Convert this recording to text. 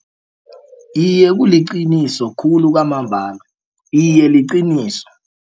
Iye, kuliqiniso khulu kwamambala iye liqiniso.